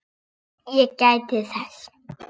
Ég gæti þess.